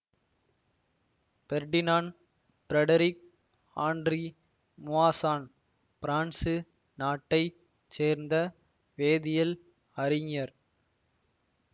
Ferdinand Frederick Henri Moissan France நாட்டை சேர்ந்த வேதியல் அறிஞர்